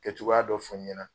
Kɛ cogoya dɔ fɔ ɲɛna